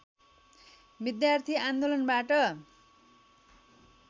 विद्यार्थी आन्दोलनबाट